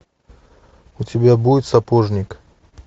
у тебя будет сапожник